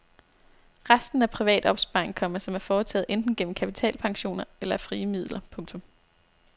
Resten er privat opsparing, komma som er foretaget enten gennem kapitalpensioner eller af frie midler. punktum